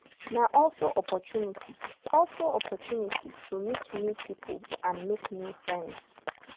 na also opportunity also opportunity to meet new pipo and make new friends